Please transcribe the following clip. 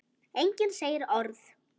Enginn segir orð.